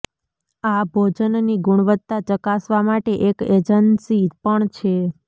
આ ભોજનની ગુણવત્તા ચકાસવા માટે એક એજન્સી પણ છે